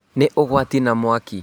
Nĩ ũgwati na mwaki